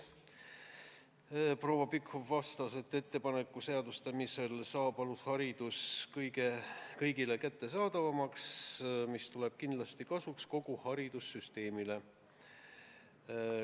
Proua Pikhof vastas, et ettepaneku seadustamisel saab alusharidus kõigile kättesaadavamaks, mis tuleb kindlasti kasuks kogu haridussüsteemile.